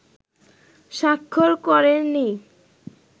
স্বাক্ষর করেনি